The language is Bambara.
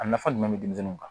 A nafa jumɛn be denmisɛnninw kan